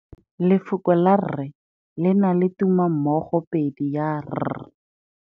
Lefoko la rre le na le tumammogôpedi ya, r.